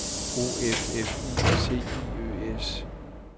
O F F I C I Ø S